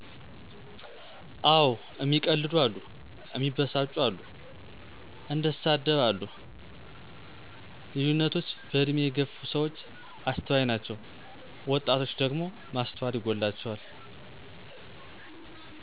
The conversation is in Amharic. አወ እሚቀልዱ አሉ፣ እሚበሳጩ አሉ፣ እንደሳደብ አሉ ልዩነቶች በእድሜ የገፍ ሰዎች አስተዋይ ናችው ወጣቶች ደግሞ ማስተዋል ይጎላቸዋል።